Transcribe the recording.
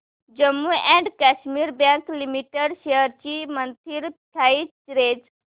Jammu and Kashmir bank limited shares ची monthly price range